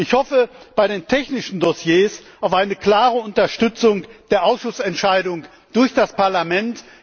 weiter? Ich hoffe bei den technischen Dossiers auf eine klare Unterstützung der Ausschussentscheidung durch das Parlament.